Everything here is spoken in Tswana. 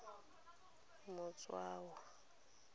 motshiwa